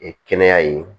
kɛnɛya ye